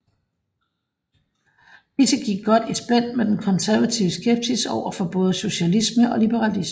Disse gik godt i spænd med den konservative skepsis overfor både socialismen og liberalismen